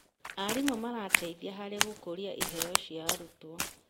Arimũ marateithia harĩ gũkũria iheo cia arutwo.